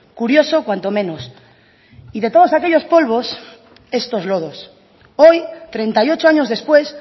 curioso cuanto menos y de todos aquellos polvos estos lodos hoy treinta y ocho años después